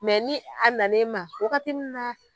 ni a na n'e ma wagati mun na.